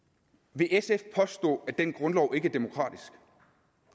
vil sf påstå at den grundlov ikke er demokratisk